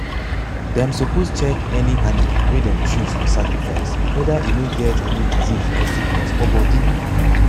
them suppose check any animal wey them choose for sacrifice whether e no get any disease or sickness for body.